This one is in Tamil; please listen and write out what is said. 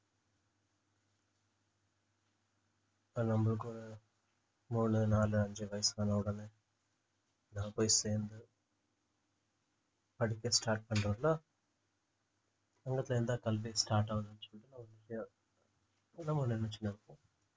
இப்ப நம்மளுக்கு ஒரு மூணு நாலு அஞ்சு வயசானவுடனே நான் போய் சேர்ந்து படிக்க start பண்றவருன்னா அங்கத்துல இருந்துதான் கல்வி start ஆகுதுன்னு சொல்லிட்டு நம்ம நினைச்சுட்டு இருப்போம்